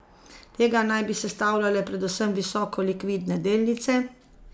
Tega naj bi sestavljale predvsem visoko likvidne delnice.